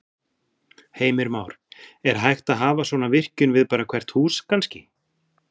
Heimir Már: Er hægt að hafa svona virkjun við bara hvert hús kannski?